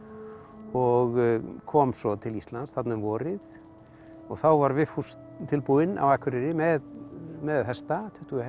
og kom svo til Íslands þarna um vorið og þá var Vigfús tilbúinn á Akureyri með með hesta tuttugu hesta